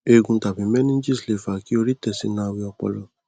eegun tàbí meninges lè fa kí orí tẹ sínú awẹ ọpọlọ